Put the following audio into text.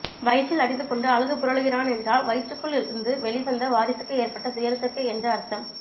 வயிற்றில் அடித்து கொண்டு அழுது புரளுகிறான் என்றால் வயிற்ருக்குள் இருந்து வெளிவந்த வாரிசுக்கு ஏற்றப்பட்ட துயரத்திற்கு என்று அர்த்தம்